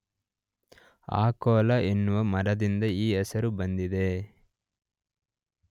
ಅಕೊಲಾ ಎನ್ನುವ ಮರದಿಂದ ಈ ಹೆಸರು ಬಂದಿದೆ.